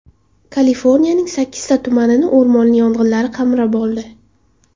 Kaliforniyaning sakkizta tumanini o‘rmon yong‘inlari qamrab oldi.